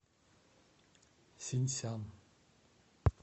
синьсян